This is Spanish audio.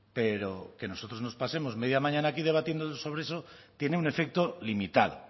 pero que nosotros nos pasemos media mañana aquí debatiendo sobre eso tiene un efecto limitado